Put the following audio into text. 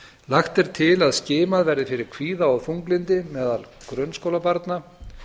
lagt er til að skimað verði fyrir kvíða og þunglyndi meðal grunnskólabarna